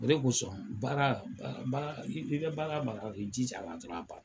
O de kosɔn baara baara baara i bɛ baara baara la i jija a la dɔrɔn a banna.